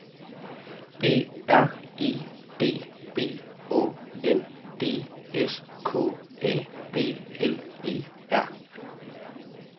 B R E D B Å N D S K A B L E R